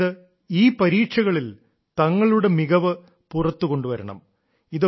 അതായത് ഈ പരീക്ഷകളിൽ തങ്ങളുടെ മികച്ചതിനെ പുറത്തു കൊണ്ടുവരണം